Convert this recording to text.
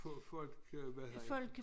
Folk hvad hedder han